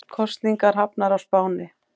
Kosningar hafnar á Spáni